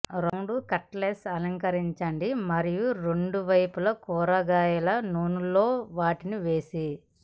round cutlets అలంకరించండి మరియు రెండు వైపులా కూరగాయల నూనె లో వాటిని వేసి